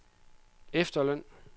efterløn